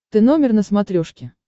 ты номер на смотрешке